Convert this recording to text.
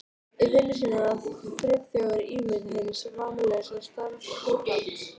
Í vinnu sinni var Friðþjófur ímynd hins vammlausa starfskrafts.